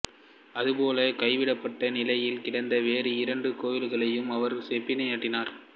அதுபோலவே கைவிடப்பட்ட நிலையில் கிடந்த வேறு இரண்டு கோவில்களையும் அவர் செப்பனிட்டார்